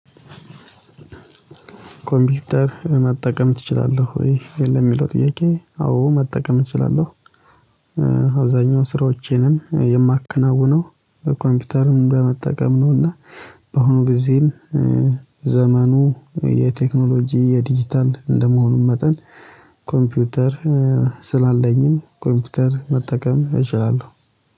ኮምፒውተር መጠቀም እችላለሁ? ወይ የለም የሚለው ጥያቄ አዎ መጠቀም እችላለሁ። አብዛኛው ስራዎቼንም የማከናውነው ኮምፒውተሩን በመጠቀም እና በአሁኑ ጊዜም ዘመኑ የቴክኖሎጂ የዲጂታል እንደመሆኑ መጠን ኮምፒውተር ስላለኝም ኮምፒውተር መጠቀም እችላለሁ